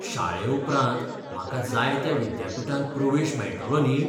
शाळे उपरांत म्हाका जाय त्या विद्यापीठांत प्रवेश मेळतलो न्ही?